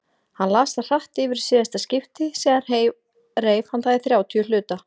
Hann las það hratt yfir í síðasta skipti, síðan reif hann það í þrjátíu hluta.